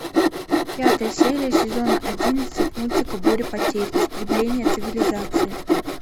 пятая серия сезона одиннадцать мультика буря потерь истребление цивилизации